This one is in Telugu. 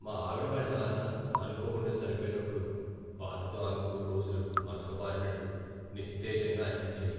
మా ఆవిడవాళ్ళ నాన్న అనుకోకుండా చనిపోయినప్పుడు బాధతో ఆమెకు రోజులు మసకబారినట్లు నిస్తేజంగా అనిపించాయి.